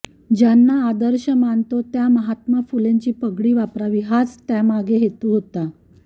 ज्यांना आदर्श मानतो त्या महात्मा फुलेंची पगडी वापरावी हाच त्यामागे हेतु होता